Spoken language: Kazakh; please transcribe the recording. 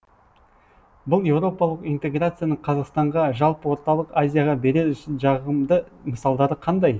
бұл еуропалық интеграцияның қазақстанға жалпы орталық азияға берер жағымды мысалдары қандай